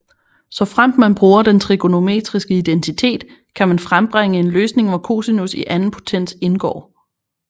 Såfremt man bruger den trigonometriske identitet kan man frembringe en løsning hvor cosinus i anden potens indgår